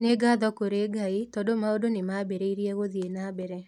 Nĩ ngatho kũrĩ Ngai tondũ maũndũ nĩ mambĩrĩirie gũthiĩ na mbere".